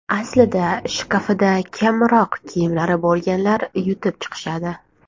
Aslida shkafida kamroq kiyimlari bo‘lganlar yutib chiqishadi.